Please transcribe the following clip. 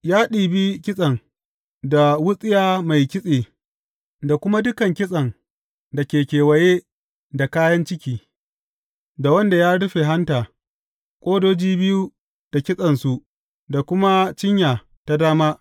Ya ɗibi kitsen, da wutsiya mai kitse, da kuma dukan kitsen da ke kewaye da kayan ciki, da wanda ya rufe hanta, ƙodoji biyu da kitsensu da kuma cinya ta dama.